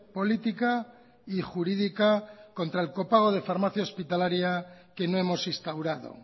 política y jurídica contra el copago de farmacia hospitalaria que no hemos instaurado